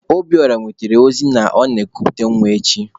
Obiora wetere ozi na ọ na-ekuputa nwa echi.